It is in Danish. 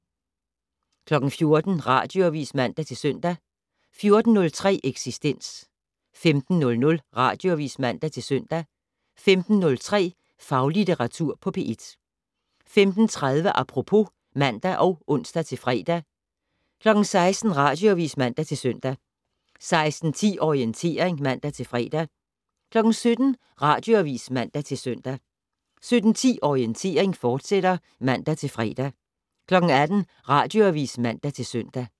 14:00: Radioavis (man-søn) 14:03: Eksistens 15:00: Radioavis (man-søn) 15:03: Faglitteratur på P1 15:30: Apropos (man og ons-fre) 16:00: Radioavis (man-søn) 16:10: Orientering (man-fre) 17:00: Radioavis (man-søn) 17:10: Orientering, fortsat (man-fre) 18:00: Radioavis (man-søn)